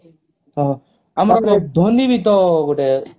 ଆମର ଧୋନୀ ବି ତ ଗୋଟେ